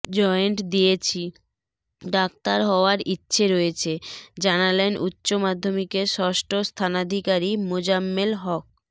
joint দিয়েছি doctor হওয়ার ইচ্ছে রয়েছে জানালেন উচ্চ মাধ্যমিকে ষষ্ঠ স্থানাধিকারী মোজাম্মেল হক